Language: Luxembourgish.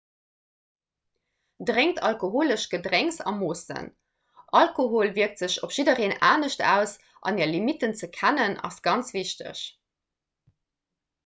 drénkt alkoholesch gedrénks a moossen alkohol wierkt sech op jiddwereen anescht aus an är limitten ze kennen ass ganz wichteg